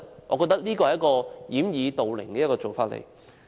我覺得這是一種掩耳盜鈴的做法。